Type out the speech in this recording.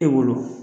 E bolo